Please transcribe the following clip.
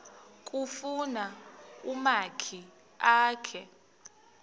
kufuna umakhi akhe